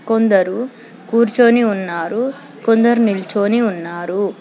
కొందరు కూర్చొని ఉన్నారు కొందరు నిల్చొని ఉన్నారు.